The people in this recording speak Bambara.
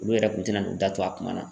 Olu yɛrɛ kun tɛna n'o da tu a kuma na